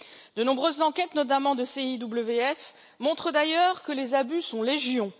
De nombreuses enquêtes, notamment de CIWF, montrent d'ailleurs que les abus sont légion.